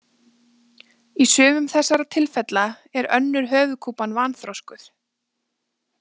Í sumum þessara tilfella er önnur höfuðkúpan vanþroskuð.